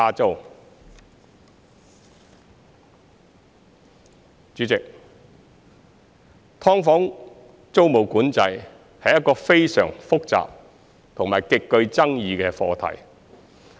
代理主席，"劏房"租務管制是一個非常複雜和極具爭議的課題。